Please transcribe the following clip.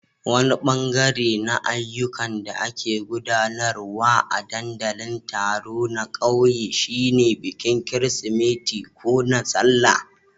Wani bangare na ayyukan da ake gudanarwa a ɗandalin taro na kauye shine bikin Kirsimeti ko na Sallah.